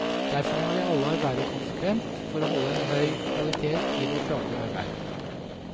Derfor må vi alle arbeide konsekvent for å holde høg kvalitet i vårt daglige arbeid.